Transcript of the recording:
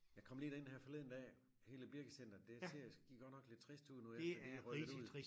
Jeg kom lige derind her forleden dag hele Birkecenteret det ser godt nok lidt trist ud nu efter de er rykket ud